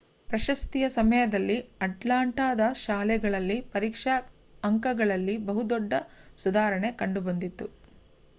ಪ್ರಶಸ್ತಿಯ ಸಮಯದಲ್ಲಿ ಅಟ್ಲಾಂಟಾದ ಶಾಲೆಗಳಲ್ಲಿ ಪರೀಕ್ಷಾ ಅಂಕಗಳಲ್ಲಿ ಬಹು ದೊಡ್ಡ ಸುಧಾರಣೆ ಕಂಡುಬಂದಿತ್ತು